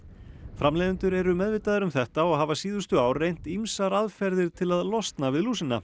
framleiðendur eru meðvitaðir um þetta og hafa síðustu ár reynt ýmsar aðferðir til að losna við